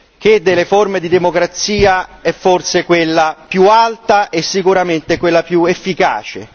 che delle forme di democrazia è forse quella più alta e sicuramente quella più efficace.